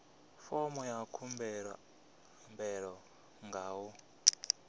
fomo ya khumbelo nga u